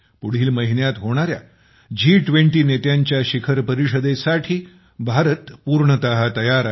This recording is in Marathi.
पुढील महिन्यात होणार्या जी २० नेत्यांच्या शिखर परिषदेसाठी भारत पूर्णतः तयार आहे